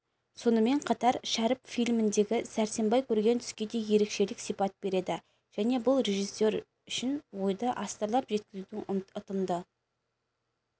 сонымен қатар шәріп фильмдегі сәрсенбай көрген түске де ерекшелік сипат береді және бұл режиссер үшін ойды астарлап жеткізудің ұтымды